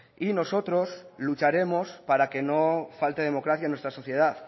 y nosotros lucharemos para que no falte democracia en nuestra sociedad